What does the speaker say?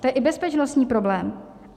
To je i bezpečnostní problém.